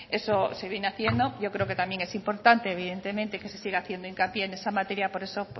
eso se viene haciendo yo creo que también es importante evidentemente que se siga haciendo hincapié en esa materia por eso